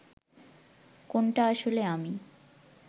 কোনটা আসলে আমি